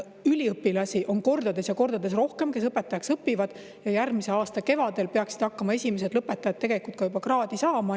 Üliõpilasi, kes õpetajaks õpivad, on kordades ja kordades rohkem ja järgmise aasta kevadel peaksid hakkama esimesed lõpetajad ka juba kraadi saama.